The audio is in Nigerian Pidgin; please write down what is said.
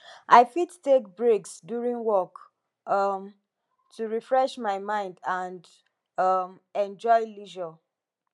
i fit take breaks during work um to refresh my mind and um enjoy leisure